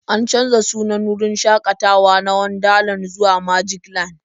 An canza sunan wurin shakatawa na Wonderland zuwa Magicland.